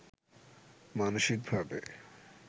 মানসিকভাবে